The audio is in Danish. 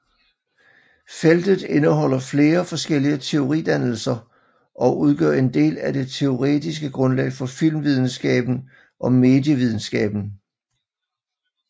Feltet indeholder flere forskellige teoridannelser og udgør en del af det teoretiske grundlag for filmvidenskaben og medievidenskaben